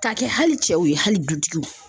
K'a kɛ hali cɛw ye hali dutigiw